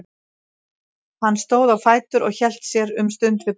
Hann stóð á fætur og hélt sér um stund við borðið.